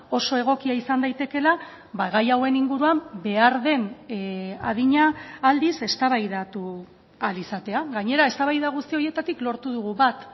oso egokia izan daitekeela gai hauen inguruan behar den adina aldiz eztabaidatu ahal izatea gainera eztabaida guzti horietatik lortu dugu bat